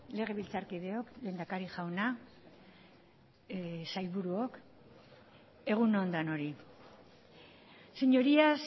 legebiltzarkideok lehendakari jauna sailburuok egun on denoi señorías